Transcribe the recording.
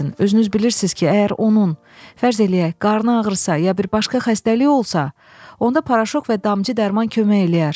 Özünüz bilirsiz ki, əgər onun, fərz eləyək, qarnı ağrısa ya bir başqa xəstəliyi olsa, onda paraşok və damcı dərman kömək eləyər.